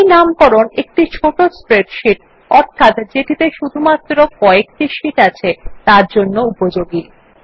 এই নামকরণ একটি ছোট স্প্রেডশীট অর্থাৎ যেটিতে শুধুমাত্র ক একটি শীট আছে তার জন্য উপযোগী